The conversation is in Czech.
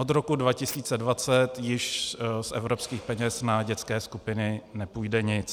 Od roku 2020 již z evropských peněz na dětské skupiny nepůjde nic.